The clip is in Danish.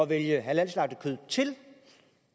vælge halalslagtet kød til